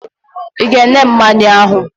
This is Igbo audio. I ga-enye m mmanya ahụ!